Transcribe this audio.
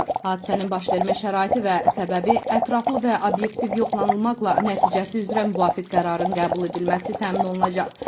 Hadisənin başvermə şəraiti və səbəbi ətraflı və obyektiv yoxlanılmaqla nəticəsi üzrə müvafiq qərarın qəbul edilməsi təmin olunacaq.